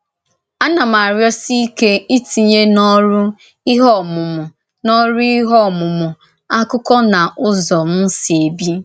Ánà m arịọ́sì íké ìtìnyè n’orù íhè ọmùmù̀ n’orù íhè ọmùmù̀ àkụ́kọ̀ n’ụ́zọ m sī èbì.